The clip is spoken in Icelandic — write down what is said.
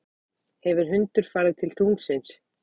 hefur hundur farið til tunglsins